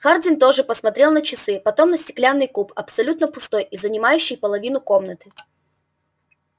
хардин тоже посмотрел на часы потом на стеклянный куб абсолютно пустой и занимающий половину комнаты